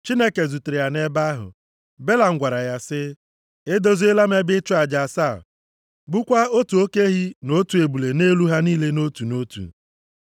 Chineke zutere ya nʼebe ahụ. Belam gwara ya sị, “Edoziela m ebe ịchụ aja asaa, gbukwaa otu oke ehi na otu ebule nʼelu ha niile nʼotu na otu.”